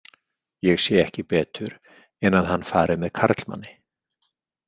Ég sé ekki betur en að hann fari með karlmanni.